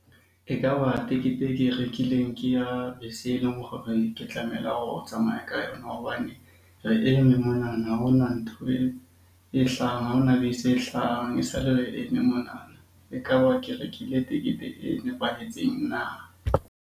E ka ba tekete e ke e rekileng ke ya bese e leng hore ke ho tsamaya ka yona hobane re eme monana ha hona ntho e hlahang, ha hona bese e hlahang esale re eme monana. E ka ba ke rekile tekete e nepahetseng na?